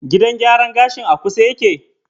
Gidan gyaran gashin a kusa yake?